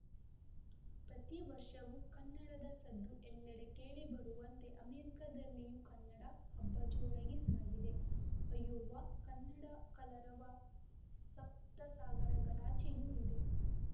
ಪ್ರತಿ ವರ್ಷವೂ ಕನ್ನಡದ ಸದ್ದು ಎಲ್ಲೆಡೆ ಕೇಳಿಬರುವಂತೆ ಅಮೆರಿಕದಲ್ಲಿಯೂ ಕನ್ನಡ ಹಬ್ಬ ಜೋರಾಗಿ ಸಾಗಿದೆ ಅಯೋವಾ ಕನ್ನಡದ ಕಲರವ ಸಪ್ತಸಾಗರಗಳಾಚೆಯೂ ಇದೆ